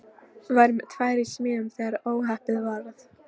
Var með tvær í smíðum þegar óhappið varð.